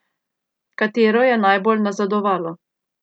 Katero je najbolj nazadovalo?